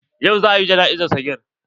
Yau za a yi jana'izar sagir.